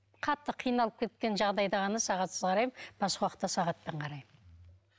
қатты қиналып кеткен жағдайда ғана сағатсыз қараймын басқа уақытта сағатпен қараймын